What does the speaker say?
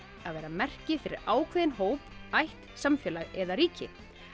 að vera merki fyrir ákveðinn hóp ætt samfélag eða ríki